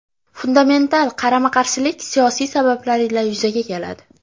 Fundamental qarama-qarshilik siyosiy sabablar ila yuzaga keladi.